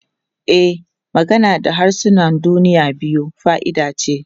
E, magana da harsunan duniya biyu fa'ida ce.